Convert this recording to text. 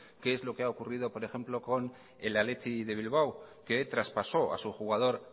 qué lo que ha ocurrido por ejemplo con el athletic de bilbao que traspasó a su jugador